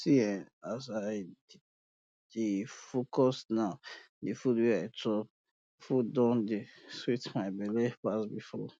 see eh as i dey focus now di food wey i chop food don dey sweet my belle pass before